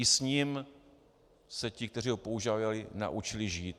I s ním se ti, kteří ho používali, naučili žít.